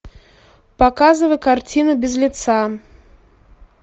показывай картину без лица